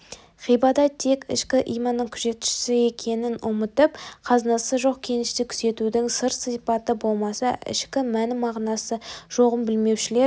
ғибадат тек ішкі иманның күзетшісі екенін ұмытып қазынасы жоқ кенішті күзетудің сырт сипаты болмаса ішкі мәні мағынасы жоғын білмеушілер